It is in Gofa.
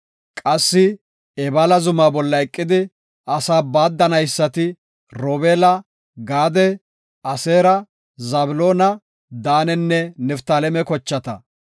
Qassi Ebaala zuma bolla eqidi asaa baaddanaysati, Robeela, Gaade, Aseera, Zabloona, Daanenne Niftaaleme kochata.